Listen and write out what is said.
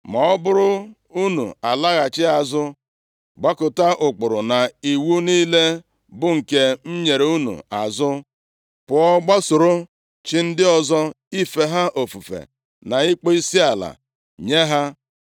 “Ma ọ bụrụ unu alaghachi azụ, gbakụta ụkpụrụ na iwu niile, bụ nke m nyere unu azụ, pụọ gbasoro chi ndị ọzọ ife ha ofufe, na ịkpọ isiala nye ha,